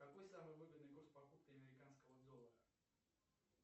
какой самый выгодный курс покупки американского доллара